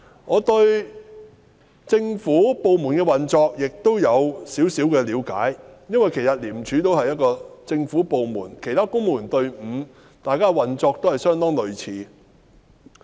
我對政府部門的運作有少許了解，因為廉署亦是一個政府部門，與其他公務員隊伍的運作相當類似。